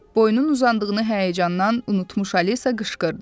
Boynun uzandığını həyəcandan unutmuş Alisa qışqırdı.